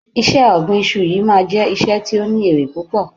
iṣẹ ọgbin Isu yíò tí o ma je iṣẹ tio ni ere pupo